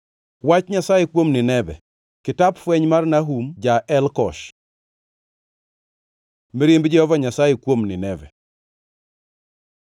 Wach Nyasaye kuom Nineve. Kitap fweny mar Nahum ja-Elkosh. Mirimb Jehova Nyasaye kuom Nineve